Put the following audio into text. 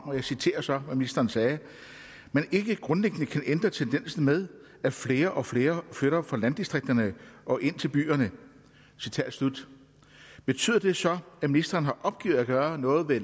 og jeg citerer så hvad ministeren sagde at man ikke grundlæggende kan ændre tendensen med at flere og flere flytter fra landdistrikterne og ind til byerne citat slut betyder det så at ministeren har opgivet at gøre noget ved